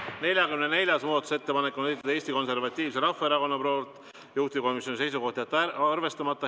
44. muudatusettepaneku on esitanud Eesti Konservatiivse Rahvaerakonna fraktsioon, juhtivkomisjoni seisukoht on jätta see arvestamata.